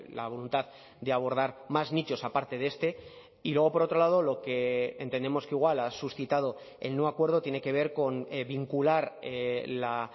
la voluntad de abordar más nichos aparte de este y luego por otro lado lo que entendemos que igual ha suscitado el no acuerdo tiene que ver con vincular la